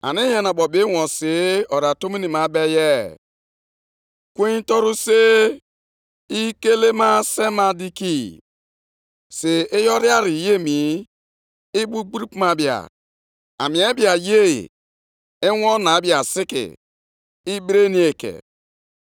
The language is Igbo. “Legide mba niile anya, ka i hụ. Lee, ka o ju gị anya nke ukwuu. Nʼihi na agaje m ime ihe nʼụbọchị ndụ unu, nke unu na-agaghị ekwenye, ọ bụladị ma akọọrọ unu ya.